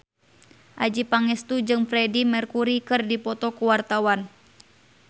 Adjie Pangestu jeung Freedie Mercury keur dipoto ku wartawan